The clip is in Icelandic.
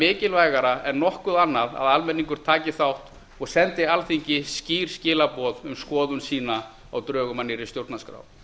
mikilvægara en nokkuð annað að almenningur taki þátt og sendi alþingi skýr skilaboð um skoðun sína á drögum að nýrri stjórnarskrá